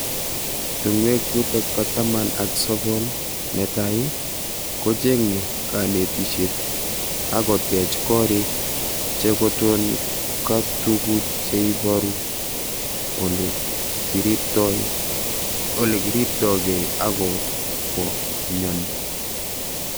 Tungwek chutok ba taman ak sokol ne tai ,kochenge kanetishet ako tech korik che koton ka tuku che ibaru ole kiribtoi kei ako bo myoni.